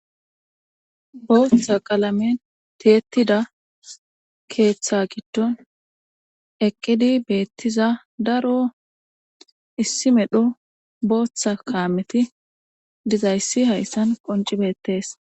Booththa qalame teetida keeththa giddon eqqidi beettiza daro issi medho booththa kaameti dizayssi hayssan qonci beettees.